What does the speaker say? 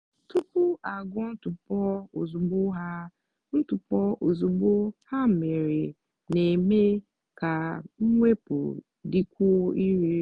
tupu agwọ ntụpọ ozugbo ha ntụpọ ozugbo ha mere na-eme ka mwepụ dịkwuo irè.